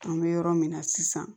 An bɛ yɔrɔ min na sisan